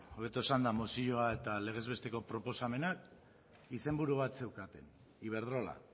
hobeto esanda mozioa eta legez besteko proposamena izenburu bat zeukaten iberdrola